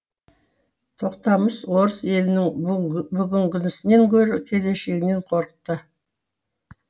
тоқтамыс орыс елінің бүгінгісінен гөрі келешегінен қорықты